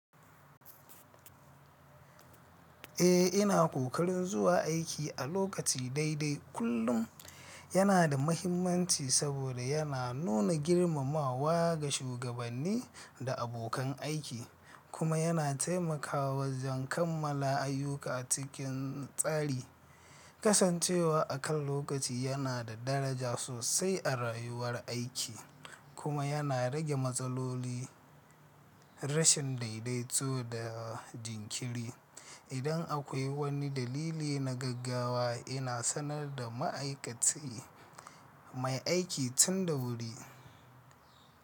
Eh, ina ƙoƙarin zuwa aiki a lokaci daidai kullum yana da mahimmanci saboda yana nuna girmamawa ga shugabanni da abokan aiki, kuma yana taimakawa wajen kammala ayyuka cikin tsari. Kasancewa a kan lokaci yana da daraja sosai a rayuwar aiki, kuma yana rage matsaloli rashin daidaito da jinkiri. Idan akwai wani dalili na gaggawa, ina sanar da ma'aikaci mai aiki tun da wuri.